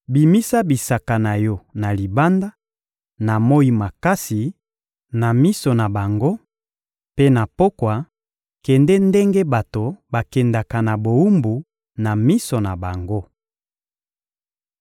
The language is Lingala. Bimisa bisaka na yo na libanda, na moyi makasi na miso na bango; mpe na pokwa, kende ndenge bato bakendaka na bowumbu na miso na bango.